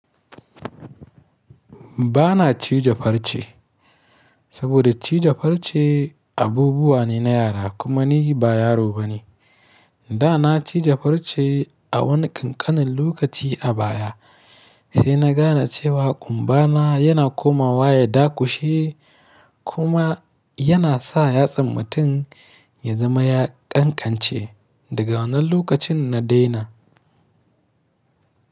Ba na cije farce saboda cije farce abubuwa ne na yara kuma ni ba yaro bane. Da na ciji farce a wani ƙanƙanin lokaci a baya, sai na gane cewa ƙumba na yana komawa ya dakushe kuma yana sa yatsan mutum ya zama ya ƙanƙance daga wannan lokacin na daina.